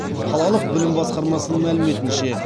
қалалық білім басқармасының мәліметінше